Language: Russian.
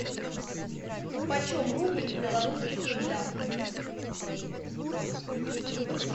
почем рубль в белорусских рублях